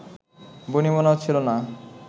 বনিবনা হচ্ছিলো না